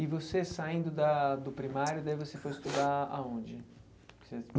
E você saindo da do primário, daí você foi estudar aonde?